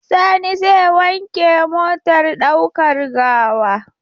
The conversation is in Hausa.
Sani zai wanke motar ɗaukar gawa.